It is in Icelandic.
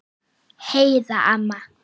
Heiða amma.